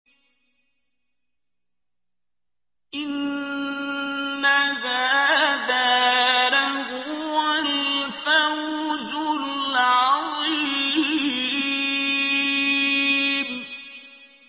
إِنَّ هَٰذَا لَهُوَ الْفَوْزُ الْعَظِيمُ